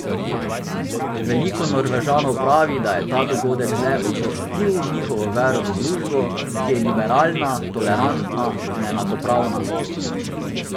Veliko Norvežanov pravi, da je ta dogodek le učvrstil njihovo vero v družbo, ki je liberalna, tolerantna in enakopravna.